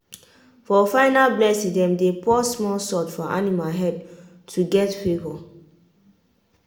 for final blessing dem dey pour small salt for animal head to get favour.